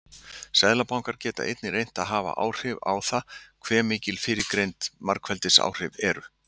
Seðlabankar geta einnig reynt að hafa áhrif á það hve mikil fyrrgreind margfeldisáhrif eru.